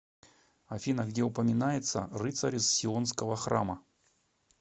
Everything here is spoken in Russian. афина где упоминается рыцари сионского храма